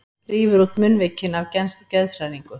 Rífur út munnvikin af geðshræringu.